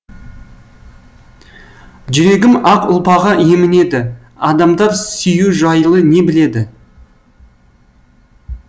жүрегім ақ ұлпаға емінеді адамдар сүю жайлы не біледі